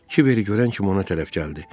Kiveri görən kimi ona tərəf gəldi.